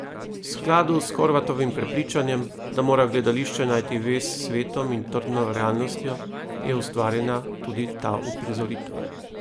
V skladu s Horvatovim prepričanjem, da mora gledališče najti vez s svetom in trdno realnostjo, je ustvarjena tudi ta uprizoritev.